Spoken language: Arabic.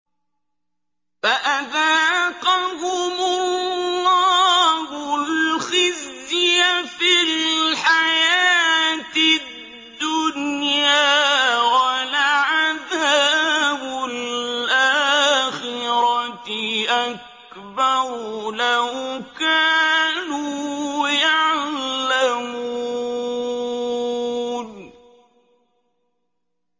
فَأَذَاقَهُمُ اللَّهُ الْخِزْيَ فِي الْحَيَاةِ الدُّنْيَا ۖ وَلَعَذَابُ الْآخِرَةِ أَكْبَرُ ۚ لَوْ كَانُوا يَعْلَمُونَ